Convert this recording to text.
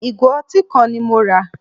Ìgò ọtí kan ni mo rà.